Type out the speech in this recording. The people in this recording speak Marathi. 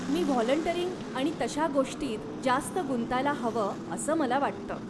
मी व्हाॅल्युंटरिंग आणि तशा गोष्टींत जास्त गुंतायला हवं असं मला वाटतं.